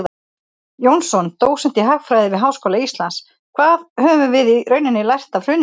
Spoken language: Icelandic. Jónsson, dósent í hagfræði við Háskóla Íslands: Hvað höfum við í rauninni lært af hruninu?